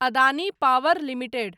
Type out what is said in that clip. Adani power limited